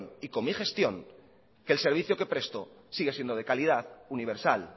y con mi gestión que el servicio que presto sigue siendo de calidad universal